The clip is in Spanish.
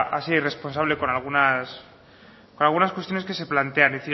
a ser irresponsable con algunas cuestiones que se plantean